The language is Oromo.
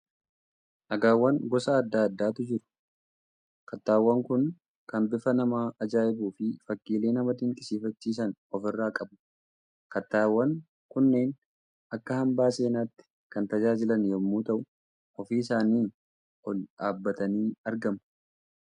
Dhagaawwan gosa adda addaatu juru. Kattaawwan kun kan bifa nama ajaa'ibuu fi fakkiilee nama dinqisiifachiisan ofirraa qabu. Kattaawwan kunneen akka hambaa seenaatti kan tajaajilan yommuu ta'u, ofii isaanii ol dhaabbatanii argamu.